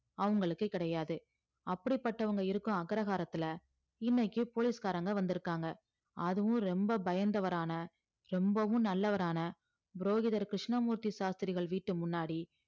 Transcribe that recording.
அவங்களுக்கு கிடையாது அப்படிப்பட்டவங்க இருக்கும் அக்ரஹாரத்துல இன்னைக்கு போலீஸ்காரங்க வந்திருக்காங்க அதுவும் ரொம்ப பயந்தவரான ரொம்பவும் நல்லவரான புரோகிதர் கிருஷ்ணமூர்த்தி சாஸ்திரிகள் வீட்டு முன்னாடி